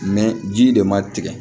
ji de ma tigɛ